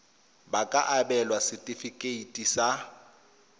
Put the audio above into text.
ba ka abelwa setefikeiti sa